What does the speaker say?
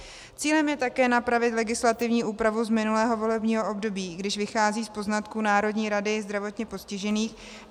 Cílem je také napravit legislativní úpravu z minulého volebního období, když vychází z poznatků Národní rady zdravotně postižených.